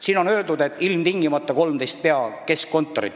Siin on öeldud, et ilmtingimata viiakse välja 13 pea- ja keskkontorit.